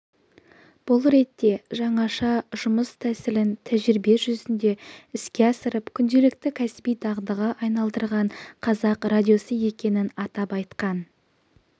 бұл ретте жаңаша жұмыс тәсілін тәжірибе жүзінде іске асырып күнделікті кәсіби дағдыға айналдырған қазақ радиосы екенін атап айтқан